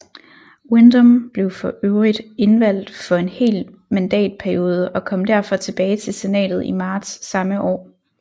Windom blev for øvrigt indvalgt for en hel mandatperiode og kom derfor tilbage til senatet i marts samme år